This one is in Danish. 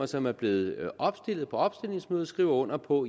som er blevet opstillet på opstillingsmødet skriver under på